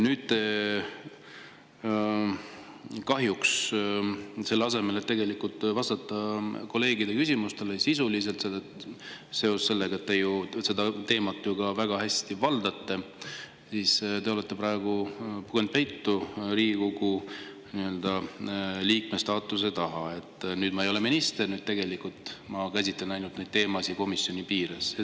Nüüd kahjuks selle asemel, et vastata kolleegide küsimustele sisuliselt, seoses sellega, et te seda teemat ju väga hästi valdate, te olete praegu pugenud peitu Riigikogu liikme staatuse taha: "Nüüd ma ei ole minister, nüüd ma käsitlen neid teemasid ainult komisjonis piires.